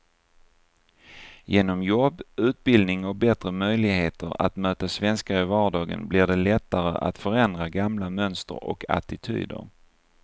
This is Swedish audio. Genom jobb, utbildning och bättre möjligheter att möta svenskar i vardagen blir det lättare att förändra gamla mönster och attityder.